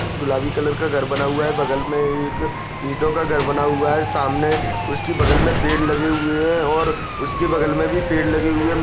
गुलाबी कलर का घर बना हुआ है। बगल में एक ईटों का घर बना हुआ है सामने उसकी बगल में पेड़ लगे हुए है और उसके बगल में भी पेड़ लगे हुए है|